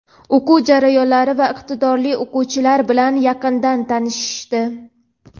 o‘quv jarayonlari va iqtidorli o‘quvchilar bilan yaqindan tanishishdi.